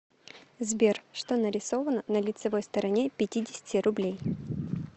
сбер что нарисовано на лицевой стороне пятидесяти рублей